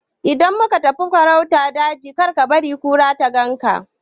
Idan ka tafi farauta a daji kar kabari kura ta ganka